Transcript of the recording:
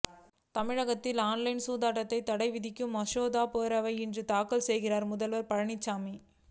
தமிழகத்தில் ஆன்லைன் சூதாட்டத்துக்கு தடை விதிக்கும் மசோதாவை பேரவையில் இன்று தாக்கல் செய்கிறார் முதல்வர் பழனிசாமி